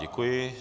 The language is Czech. Děkuji.